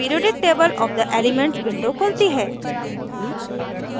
periodic table of the elements window खुलती है